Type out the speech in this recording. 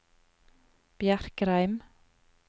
Bjerkreim